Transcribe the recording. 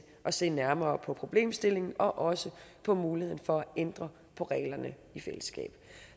at se nærmere på problemstillingen og også på muligheden for at ændre reglerne i fællesskab